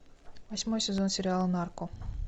восьмой сезон сериала нарко